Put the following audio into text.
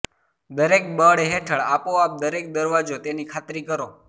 દરેક બળ હેઠળ આપોઆપ દરેક દરવાજો તેની ખાતરી કરો